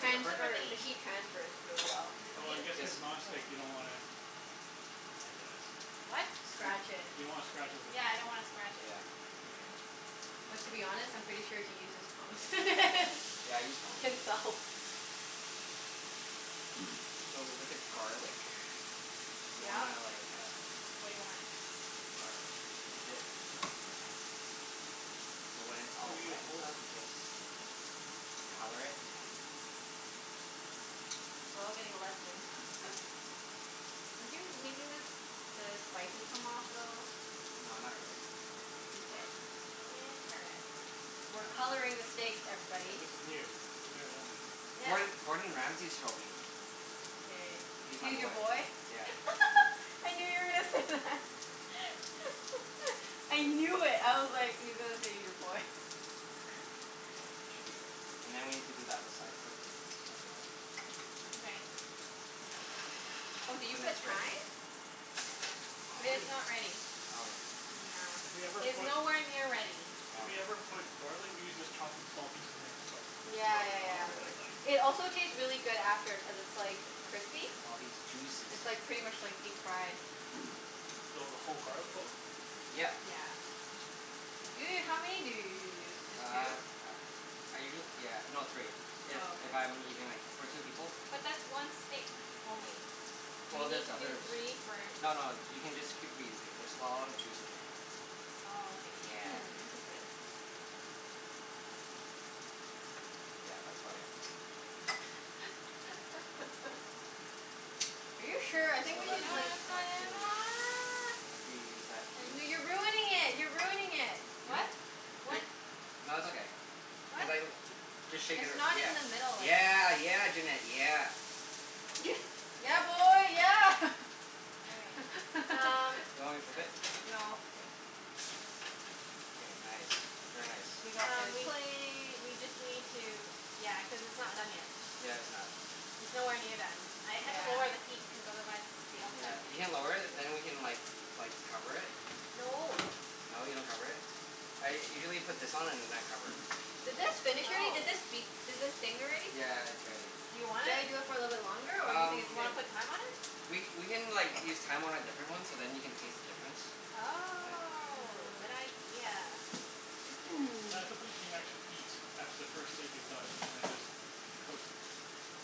The The ripper? flipper The thingie. heat transfers really well. Is it Oh, clean? I guess Yes. cuz Okay. non-stick you don't wanna I guess. What? You d- Scratch it. you don't wanna scratch it with the Yeah, I tongs. don't wanna scratch it. Yeah. Okay. But to be honest, I'm pretty sure he uses prongs. Yeah, I use tongs. Himself. So w- with the garlic you Yeah? wanna like, uh What do you want? Garlic. Is it So when it's Oh, all you do wet it and whole. stuff you just color it. We're all getting a lesson. Are you making the s- the spices come off a little? No, not really. Mkay. Interesting. We're coloring the steak, Yeah, everybody. this is new. We've never done this. Yeah. Gord- Gordon Ramsey showed me. K. He's my He's your boy. boy? Yeah. I knew you were gonna say that. I knew it. I was like, he's gonna say he's your boy. There. Should be good. And then we have to do the other side quickly, as well. Mkay. Oh, did you put thyme? It If is w- not ready. Okay. Yeah. If we ever It is put nowhere near ready. If we ever Okay. put garlic, we usually just chop it in small pieces and then just like Yeah rub it yeah Oh on, yeah. but really? like It also taste really good after cuz it's like crispy. Look at all these juices. It's like pretty much like deep fried. So, the whole garlic clove? Yeah. Yeah. Yeah. Ju- how many do you usually use? Uh Just two? uh, I usuall- yeah, no, three. If Oh, okay. if I'm eating like, for two people. But that's one steak only. You Well need there's to do others. three for No no, you can just keep reusing. There's a lot of juice in here. Oh, okay. Yeah. Hmm, interesting. Yeah, that's about it. Are you So sure? I think we No let's should no, do like it's not side two. I could use that piece. N- no you're ruining it! You're ruining it! Really? What? What Wh- nah, it's okay. Cuz What? I l- just shake it It's ar- not in the middle yeah, anymore. yeah. Yeah, Junette, yeah. Yeah, boy, yeah! Okay, um Do you want me to flip it? No. K. K, nice. Very nice. We got Um, the we plate. we just need to, yeah, cuz it's not done yet. Yeah, it's not. It's nowhere near done. I had to lower the Yeah. heat cuz otherwise the Yeah. outside was You gonna can get lower it and then we can like like cover it. No. No, you don't cover it? I usually put this on and then I cover it. Did this finish already? Oh. Did this beep? Did this ding already? Yeah, it's ready. Do you want Should I it? do it for a little longer or you Um, think Do it's you wanna good? put thyme on it? we we can like, use thyme on a different one so then you can taste the difference. Yeah. Oh, good Mm. idea. Yeah, I suppose we can actually eat after the first steak is done, and then just cook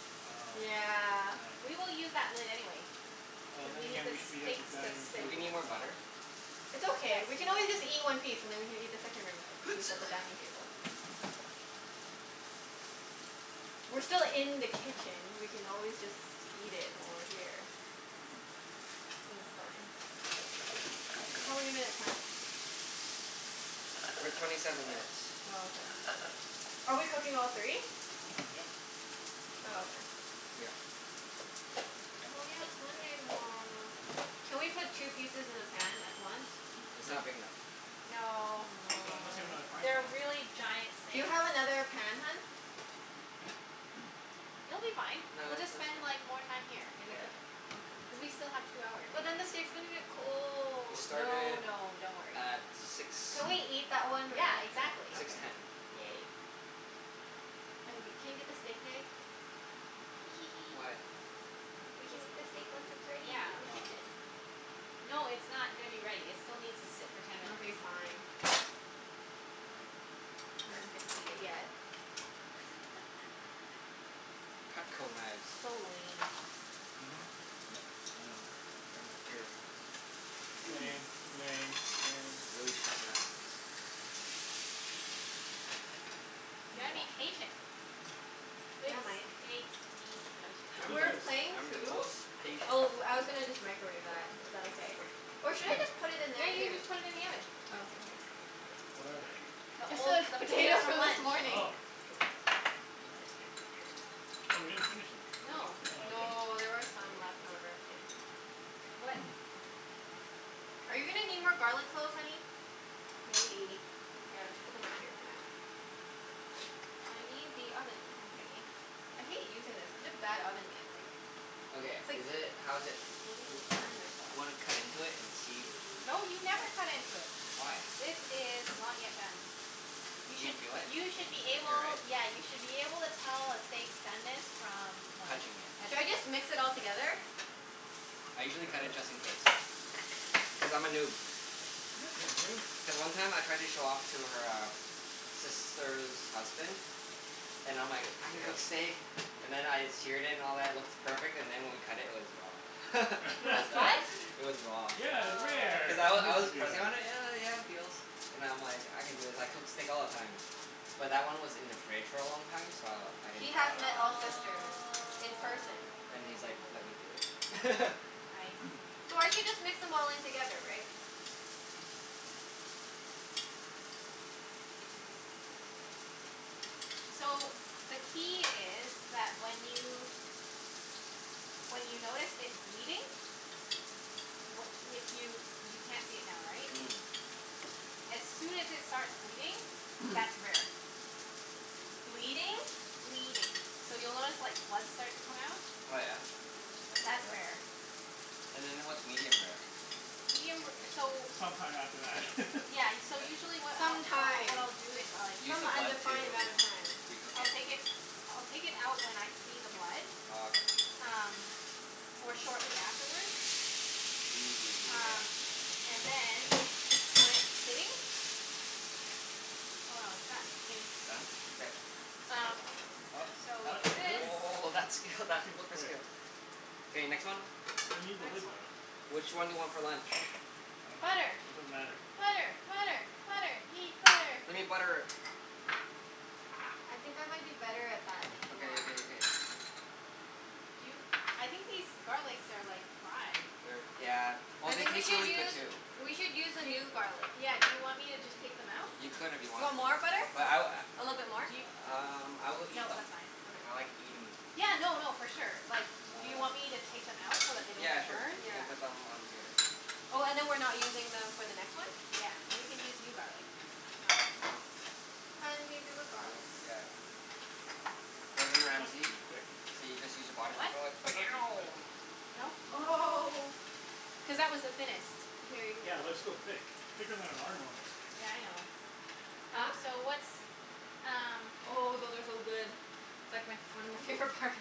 I dunno. Yeah. I We will dunno. use that lid anyway Oh, cuz then we need again the we should be at the steaks to dining room sit. Do we table, need more so butter? It's Yes, okay. We we can will. always just eat one piece and then we can eat the second room a- piece at the dining table. We're still in the kitchen. We can always just eat it while we're here. Mm. Think it's fine. How many minutes, hun? We're at twenty seven minutes. Oh, okay. Are we cooking all three? Yep. Might as Oh, well. okay. Yep. Oh yeah, it's Monday tomorrow. Can we put two pieces in the pan at once? N- it's not Nope. big enough. No. Not unless you have another Aw. frying pan? They're really giant Do you steaks. have another pan, hun? It'll be fine. No, We'll it's it's just okay. spend like, more time here in the Yeah. kitchen. Cuz Okay. we still have two hours, But then the anyway. steak's gonna get We cold. No started no, don't worry. at six, Can we eat that one Yeah, right after? exactly. six Okay, ten. yay. I'm g- can you get the steak knife? Hee hee hee. Why? We can Cuz eat the w- stake once wh- it's ready w- in the yeah. Oh. kitchen. No, it's not gonna be ready. It still needs to sit for ten minutes. Okay, fine. One. We don't get to eat it yet. Cutco knives. So lame. Mhm. Yep. I know. Everything's Here. lame. Lame. Lame. These Lame. are really sharp knives. I'm You gotta gonna be wash mine. patient. Good Yeah, Mike. steaks need What I'm is We the, were this? patience. playing I'm the Coup. most patient. Oh, I was gonna just microwave that. Is that okay? Or should I just put it in Yeah, there, you can too? just put it in the oven. Oh, okay. Here. What are they? The Just old, the the potatoes potatoes from from this lunch. morning. Oh. Oh, we didn't finish them. No. Oh, okay. No, there were some left over. What Are you gonna need more garlic cloves, honey? Maybe. Okay, I'll just put them right here for now. I need the oven thingie. I hate using this. It's such a bad oven mitt, like Okay, It's like, is feel it, how like is it? I'm Do gonna w- burn wanna cut myself. into it and see? Yeah. No, you never cut into it. Why? This is not yet done. You You can should, feel it? you should be Like, right? able, yeah, you should be able to tell a steak's doneness from like, Touching it. Should I touching it. just mix it all K. together? I usually cut it Sure. just in case. Cuz I'm a noob. You're a noob? Then one time I tried to show off to her um sister's husband and I'm like, "I can cook steak." And then I seared it and all that, it looks perfect. And then when we cut it, it was raw. It was what? It was raw. Yeah, it's Oh. rare! Cuz I I w- was meant I to was do that. pressing on it, and yeah, yeah it feels. And I'm like, I can do this. I cook steak all the time. But that one was in the fridge for a long time, so I didn't He think has met Ah. all of that. sisters in person. Then he's like, "Let me do Oh. it." I So I should see. just mix them all in together, right? Hmm. So, the key is that when you, when you notice it bleeding wh- if you, you can't see it now, right? Mhm. As soon as it starts bleeding, that's rare. Bleeding? Bleeding. So, you'll notice like, blood start to come out. Oh yeah? Mm. I didn't know That's that. rare. And then what's medium rare? Medium ra- so It's some time after that. Yeah, y- so Mkay. usually what I'll, Some what I, what time. I'll do is like Use Some the blood undefined to amount of time. recook I'll take it? it, I'll take it out when I see the blood. Oh, okay. Um, or shortly afterward. Ooh, yeah. Um, and then when it's sitting Oh no, it's done. Mm. It's done? K. Um, so What? Oh, we What, do this. really? oh, that skill, that That seems flipper quick. skill. K, next one. We need the Next lid, one. though. Which one do you want for lunch? I don't care. Butter. It doesn't matter. Butter! Butter! Butter! Need butter. We need butter. I think I might be better at that than you Okay are. okay okay. Do you, I think these garlics are like, fried. They're, yeah, well I they think we taste should really good use too. We should use a Do y- new garlic. yeah, do you want me to just take them out? You could if you You wanted. want more butter? But I w- A little bit more? Do yo- a- um I will eat No, them. that's fine. I Okay. like eating them. Yeah, no no, for sure. Like do you Um, y- want me to take them out so that they don't yeah get sure. burned? You Yeah. can put them on here. Oh, and then we're not using them for the next one? Yeah, we can use new garlic. Ah, okay. Hun? Do you do the garlic? Yeah. Gordon Was that Ramsay. too quick? So you just use a body What? Was that too quick? No? No? Oh. Cuz that was the thinnest. Here, you can get Yeah, but more that's from still here. thick. Thicker than our normal steaks. Yeah, I know. Huh? Um, so what's um Oh, those are so good. It's like my f- one of my favorite parts.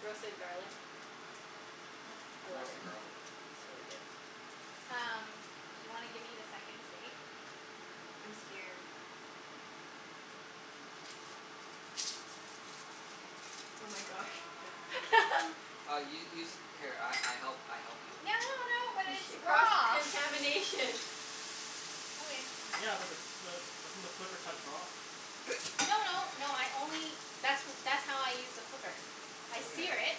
Roasted garlic. What I love it. Roasted garlic. It's really good. Um, do you wanna give me the second steak? I'm scared. Oh my gosh. Uh u- use it, here I I help, I help you. No no no, but She, it's cross raw! contamination. Okay. Yeah, but the the, doesn't the flipper touch raw? No no, no I only that's w- that's how I use the flipper. I sear Okay. it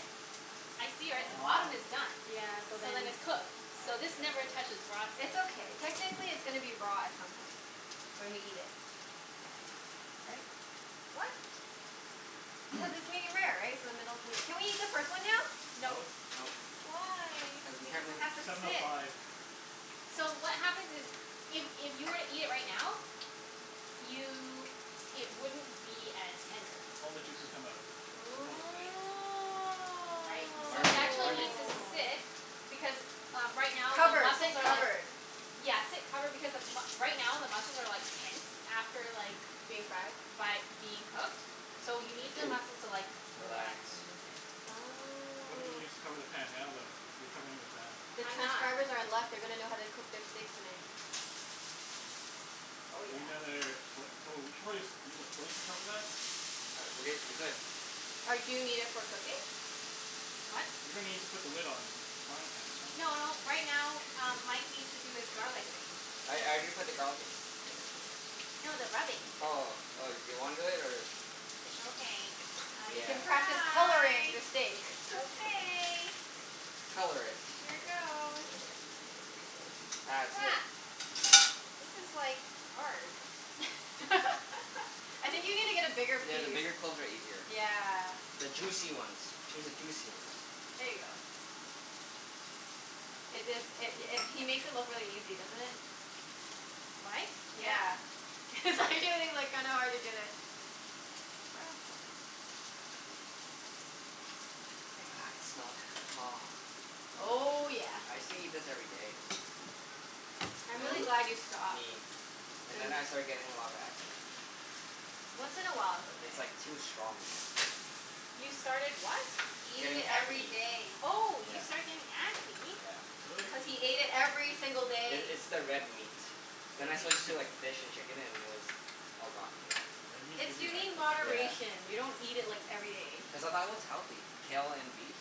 I sear it. The bottom is uh-huh. done. Yeah, so So then then it's cooked. I So guess. this never touches raw side. It's okay. Technically it's gonna be raw at some point. When we eat it. Right? What? Cuz it's medium-rare, right? So the middle's gonna Can we eat the first one now? No. No. Nope. Why? Cuz the Because temper- it has to Seven oh sit. five. So what happens is if if you were to eat it right now you, it wouldn't be as tender. All the juices come out. Supposedly. Right? You're So it learning. You're actually learning. needs to sit Oh. because, uh right now the Covered. muscles Sit are like covered. Yeah, sit covered. Because the m- right now the muscles are like tense. After like Being fried? by being cooked. So you need the muscles to like, Relax. relax and loosen. Why don't Oh. you just cover the pan now though, if you're covering it with that? The I'm not. transcribers are in luck. They're gonna know how to cook their steaks tonight. Oh Do yeah. we need another, what? Oh, we should probably just use a plate to cover that? Uh, we h- we could. Or do you need it for cooking? What? You're gonna need to put the lid on, on the frying pan at some N- point, no, right? right now um Mike needs to do his garlic thing. I I Oh. did put the garlic in. No, the rubbing. Oh, oh. Do you wanna do it, or Okay, I You can can Yeah. practice coloring try. the steak. Okay. Color it. Here goes. As Ha. if. This is like, hard. I think you need to get a bigger Yeah, piece. the bigger cloves are easier. Yeah. The juicy ones. Choose a juicy ones. There ya go. It is, it i- it he makes it look really easy, doesn't it? Mike? Yeah. Yeah. It's actually like kinda hard to get a grasp of it. Okay. Ah, I can smell it. Aw. Oh yeah. I used to eat this every day. And I'm then, really glad you stopped. me. And then Then I started getting a lot of acne. Once in a while it's okay. It's like, too strong, you know? You started what? Eating Getting it every acne. day. Oh, Yeah. you started getting acne? Yeah. Really? Cuz he ate it every single I- day. it's the red meat. Then I Red meat Yeah. switched gives to you like fish and chicken and it was all gone. Yeah. Red meat It's, gives you you need acne? Yeah. moderation. You don't eat it like, every day. Cuz I thought it was healthy, kale and beef.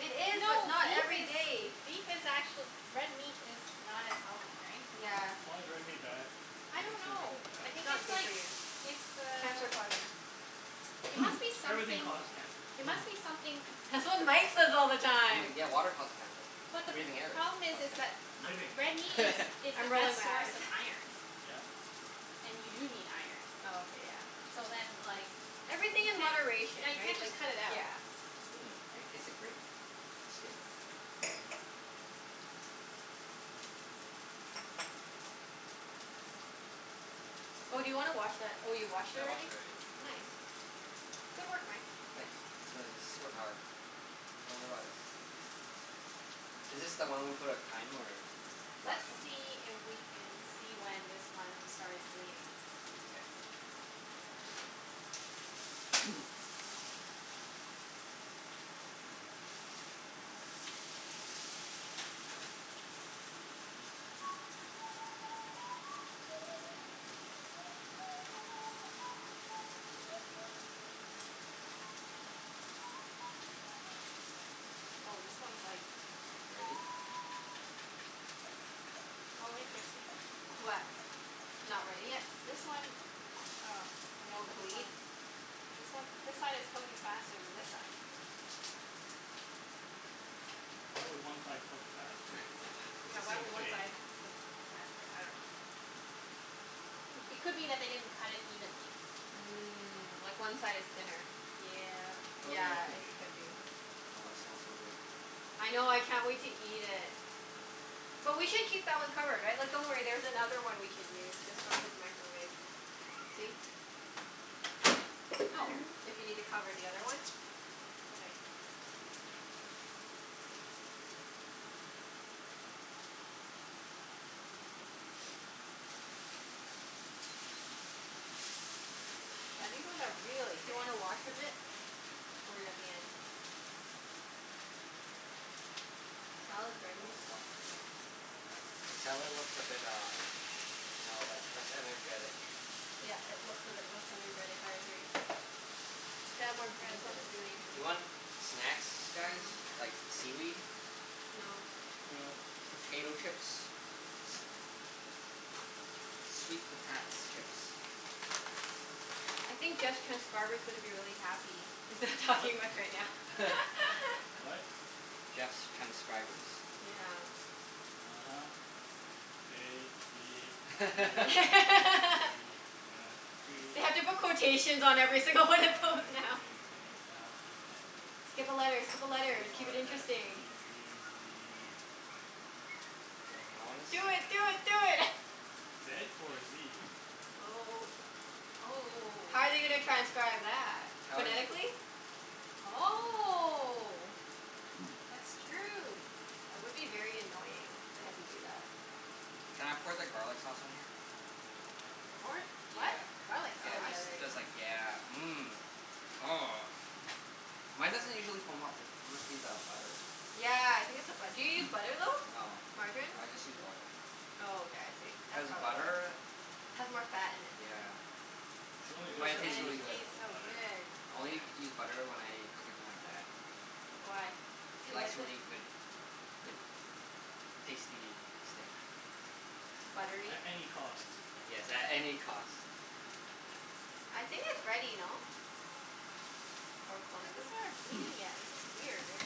It is, but No, not beef every is, day. beef is actuall- Red meat is not as healthy, right? Yeah. Why is red meat bad? I I don't didn't say it know. wasn't I bad. It's think not it's good for like, you. it's the Cancer causing. it must be Everything something causes cancer. it must be something That's what Mike says all the I'm time. like, yeah, water causes cancer. But the p- Breathing air problem is, causes is cancer. that Living. a- red meat is is the I'm best rolling my source eyes. of iron. Yeah. And you do need iron. Oh, okay. Yeah. So then, like Everything you in can't, moderation, yeah, you right? can't Like, just cut it out. yeah. Mmm, I can taste the grape skin. Oh, do you wanna wash that, oh you washed it I washed already? it already. Nice. Good work, Mike. Thanks. It's my super power. Don't worry about it. Is this the one we put on thyme, or Let's last one? see if we can see when this one starts bleeding. K. Oh, this one's like Ready? Oh, interesting. What? Not ready yet? This one, oh, I'm gonna Won't put this one bleed? This one, this side is cooking faster than this side. Why would one side cook faster? It's Yeah, the why same would one steak. side cook faster? I dunno. It Hmm. could be that they didn't cut it evenly. Mm. Like one side is thinner. Yep. Oh yeah, Yeah, could it be. could be. Oh, it smells so good. I know. I can't wait to eat it. But we should keep that one covered, right? Like, don't worry, there's another one we can use just from his microwave. See? Oh. If you need to cover the other one. Okay. Yeah, these ones are really Do you thick. wanna wash a bit? Or are you at the end? We Salad's ready. can always wash at the end. The salad looks a bit uh, you know, le- less energetic. Yeah, it looks a bit less energetic. I agree. We can add more Yeah, green this to smells it really, then. really You want good. snacks, guys? Mmm. Like, seaweed? No. No. Potato chips? Sweet potats chips. I think Jeff's transcriber's gonna be really happy. He's not What? talking much right now. What? Jeff's transcribers. Yeah. uh-huh. A b c d e f p They have to put quotations h i j k l on m every n single one of those now. o p Skip a letter! Skip a q letter! Keep it r s t u interesting. v w I wanna x s- Do y it! zed. Do it! Do it! Zed or zee? Oh. Oh oh oh How oh. are they gonna transcribe that? How is it? Phonetically? I dunno. Oh. That's true. That would be very annoying if they had to do that. Can I pour the garlic sauce on here? G- what? Yeah, What? Garlic yeah, Oh sauce? yeah, just there ya because like, go. yeah. Mmm. Oh, mine doesn't usually foam up. Must be the butter. Yeah, I think it's the bu- do you use butter, though? No, Margarine? I just use oil. Oh, okay. I see. Cuz That's probably why. butter, Has more fat in it. yeah. She only True, But just it but started tastes and it really using good. b- tastes so butter. good. I only Yeah. use butter when I cook it for my dad. Why? He He likes likes really it? good good tasty steak. Buttery? At any cost. Yes, at any cost. I think it's ready, no? Or close It to it? hasn't started bleeding yet. This is weird.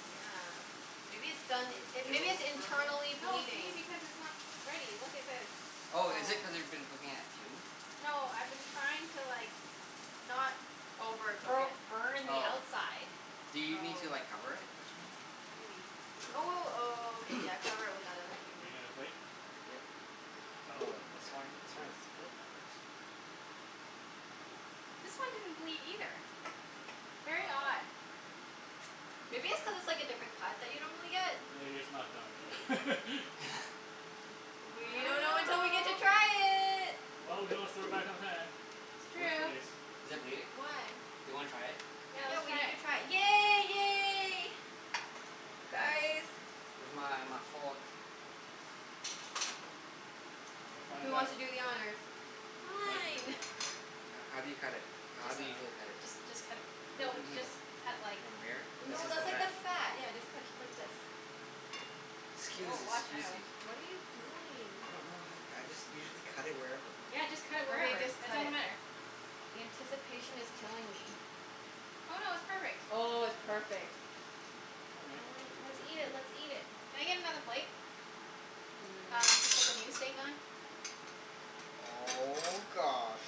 Yeah. Maybe it's done, Does it it, maybe it's feel firm, though? internally No, see? bleeding? Because it's not ready. Look at this. Oh, is it Yeah. cuz you've been cooking at two? No, I've been trying to like not Overcook bo- it. burning the Oh. outside. Do you need to Oh. like cover it or something? Maybe. Oh w- w- okay, yeah, cover it with that other thing. Need another plate? Yep. Oh, Oh, this okay. wine, this wine Sure, is good. that works. This one didn't bleed either. Very odd. uh-oh. Maybe it's cuz it's like a different cut that you normally get? Maybe it's not Maybe. done. We I don't know until don't we get to know. try it. Well, we can always throw it back in the pan. It's Worst true. case. Is it bleeding? Do Why? you wanna try it? Yeah, Yeah, let's we try need to it. try it. Yay! Yay! Guys. Where's my my fork? We'll Who find wants out. to do the honors? Mike can do the Fine. honors. H- how do you cut it? I How Just do you dunno. usually cut it? just just cut a p- Cut it No, through the just middle. cut like From here? This No, Oh, is this the that's is Yeah. new. like the fat. fat. Yeah, just cut t- like this. K. Woah, Scusi, watch out. scusi. What are you doing? I don't know, honey. I just usually cut it wherever. Yeah, just cut it Okay, wherever. just It cut doesn't it. matter. The anticipation is killing me. Oh no, it's perfect. Oh, it's Oh. perfect. Okay. I wanna, let's eat it, let's eat it. Can I get another plate? Mm. Um, to put the new steak on. Oh gosh,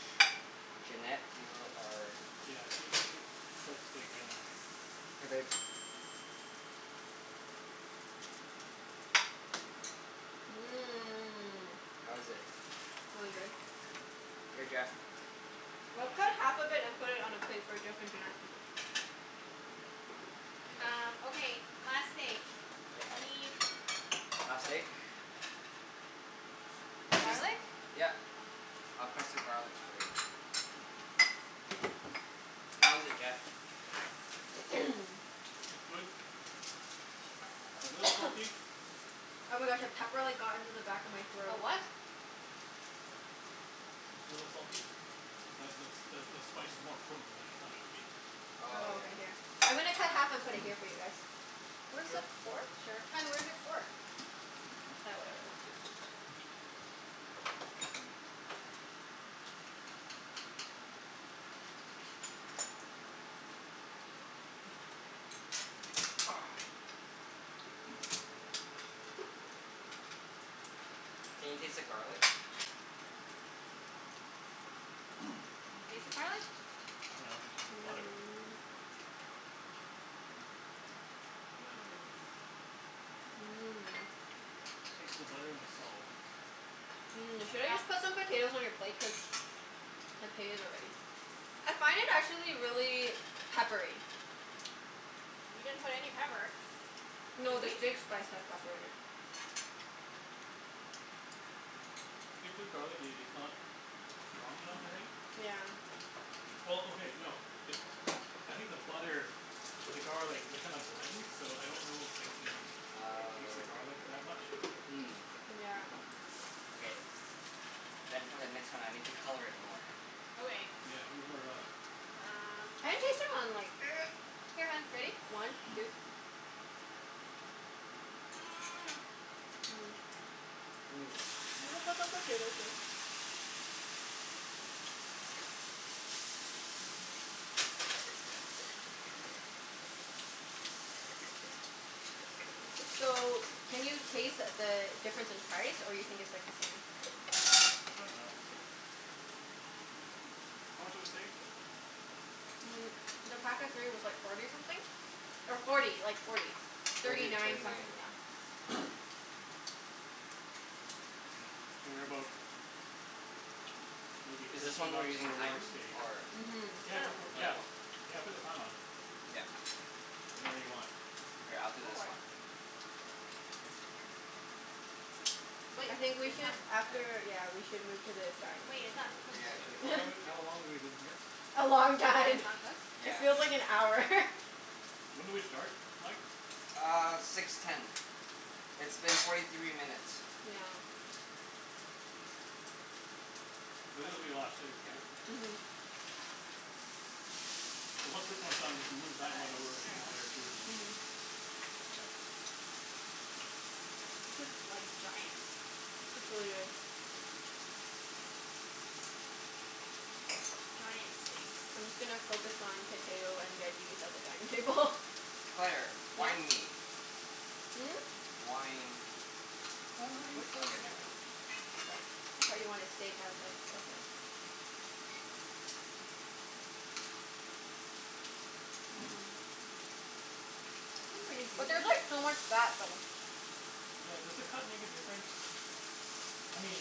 Junette, you're our Yeah, she she cooks steak better than I do. Here babe. Mmm. How is it? Really good. Here Jeff. Let's cut Ah. half of it and put All it on a right. plate for Jeff and Junette. Um, Okay. okay, last steak. Yeah. I need Last steak? Just, garlic. yep. I'll crush the garlics for you. How is it, Jeff? It's good. A little salty. Oh my gosh, a pepper like got into the back of my A throat. what? It's a little salty. That that the spice is more potent than I thought it would be. Oh Oh, yeah. okay. Here. I'm gonna cut half and put it here for you guys. Where's the Sure. fork? Sure. Hun, where's your fork? Ah, whatever. Let's just u- Oh. Can you taste the garlic? Can you taste the garlic? I dunno. I taste the butter. Mmm. Here you go. Mmm. Mmm. Taste the butter and the salt. Mmm. Should I just Yep. put some potatoes on your plate? Cuz potatoes are ready. I find it, actually, really peppery. We didn't put any pepper. No, Did the we? steak spice has pepper in it. Get through garlic, i- it's not strong enough, I think. Yeah. Well, okay, no. It I think the butter and the garlic, they kind of blend. So I don't know if I can taste the Oh. garlic that much. Mm. Yeah. Okay. Then for the next one I need to color it more. Okay. Yeah, needs more garlic. Um I can taste it on like Here, hun, ready? One two Mmm. Mmm. You wanna put some potatoes here? So, can you taste the difference in price, or you think it's like the same? I dunno. Hmm hmm hmm, how much was the steak? Mm, the pack of three was like forty something. Or forty. Like forty. Thirty Thirty thirty nine something, nine. yeah. Figure about maybe Is this thirteen one we're bucks using for a large thyme, steak. or Mhm. Yeah, go Sure. for it. Oh yeah, Yeah, cool. yeah, put the time on. Yep. Whenever you want. Here, I'll do Go this for it. one. But I think we is should, that Yeah. after, yeah, we should move to the Wait, dining it's not Yeah, cooked I yet. should've How told long room her soon. have w- to. how long have we been here? A long Even when time. it's not cooked? It Yeah. feels like an hour. When did we start, Mike? Uh, six ten. It's been forty three minutes. Yeah. This is gonna be a lot of steak, Yeah. right? Mhm. Mhm. So once this one's done we can move that one over Nice. There to we go. there too, and Yeah. This is like, giant. It's really good. Giant steaks. I'm just gonna focus on potato and veggies at the dining table. Claire, Yeah. wine me. Hmm? Wine. More Wine. wine Which Oh one's okay, never yours mind. though? I got it. I thought you wanted steak. I was like, okay. Mmm. It's pretty But juicy. there's like so much fat though. Yeah, does the cut make a difference? I mean,